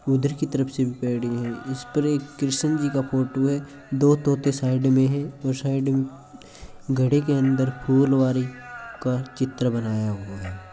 उदर की तरफ से भी पैडी है इसपर एक कृष्ण जी का फ़ोटो है दो तोते साइड में है और साइड में घड़े के अंदर फुलवारी का चित्र बनाया हुआ है।